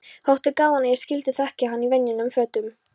Þótti gaman að ég skyldi þekkja hann í venjulegum fötum.